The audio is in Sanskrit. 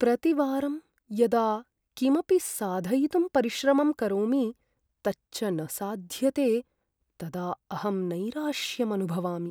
प्रतिवारं यदा किमपि साधयितुं परिश्रमं करोमि तच्च न साध्यते तदा अहम् नैराश्यम् अनुभवामि।